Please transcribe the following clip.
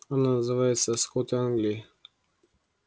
она называется скоты англии